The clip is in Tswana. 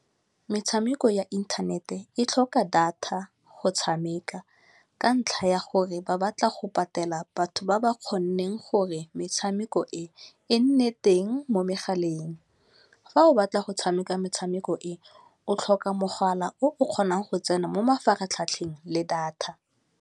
Metshameko ya internet e tlhoka data go tshameka ka ntlha ya gore ba batla go patela batho ba ba kgonneng gore metshameko e e nne teng mo megaleng. Fa o batla go tshameka metshameko e, o tlhoka mogala o kgonang go tsena mo mafaratlhatlheng le data.